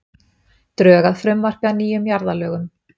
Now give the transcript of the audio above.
Drög að frumvarpi að nýjum jarðalögum